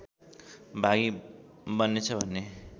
भागी बन्नेछ भन्ने